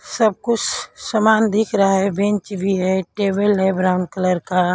सब कुछ सामान दिख रहा है बेंच भी है टेबल है ब्राउन कलर का।